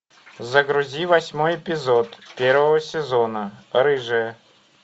загрузи восьмой эпизод первого сезона рыжая